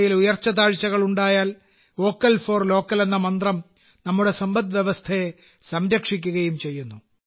ല് ഉയർച്ച താഴ്ചകൾ ഉണ്ടായാൽ വോക്കൽ ഫോർ ലോക്കൽ എന്ന മന്ത്രം നമ്മുടെ സമ്പദ്വ്യവസ്ഥയെ സംരക്ഷിക്കുകയും ചെയ്യുന്നു